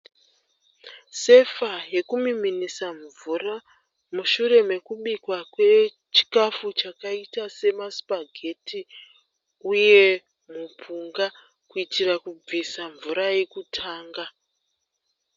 Sefa yekumiminisa mvura mushure mekubikwa kwechikafu chakaita semasipageti uye mupunga kuitira kubvisa mvura yekutanga.